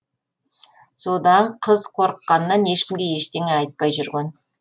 содан қыз қорыққанынан ешкімге ештеңе айтпай жүрген